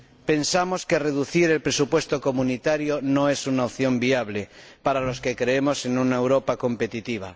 Pensamos que reducir el presupuesto comunitario no es una opción viable para los que creemos en una Europa competitiva.